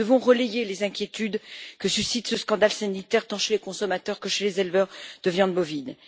Nous devons relayer les inquiétudes que suscite ce scandale sanitaire tant chez les consommateurs que chez les éleveurs de viande bovine.